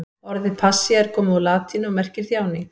Orðið passía er komið úr latínu og merkir þjáning.